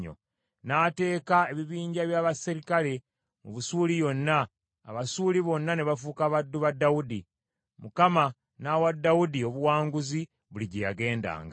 N’ateeka ebibinja bya baserikale mu Busuuli yonna, Abasuuli bonna ne bafuuka baddu ba Dawudi. Mukama n’awa Dawudi obuwanguzi buli gye yagendanga.